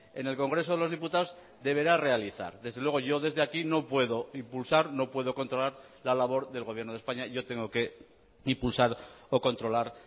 en el congreso de los diputados deberá realizar desde luego yo desde aquí no puedo impulsar no puedo controlar la labor del gobierno de españa yo tengo que impulsar o controlar